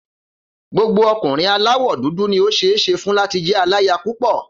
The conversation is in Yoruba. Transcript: Gbogbo ọkùnrin aláwọ̀ dúdú ni ó ṣeé ṣe fún láti jẹ́ aláya púpọ̀.